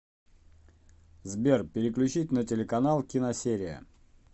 сбер переключить на телеканал киносерия